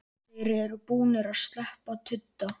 Þeir eru búnir að sleppa tudda!